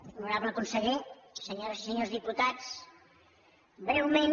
honorable conseller senyores i senyors diputats breument